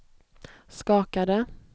skakade